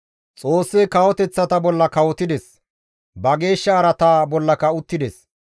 Xoossi kawoteththata bolla kawotides; ba geeshsha araata bollaka uttides.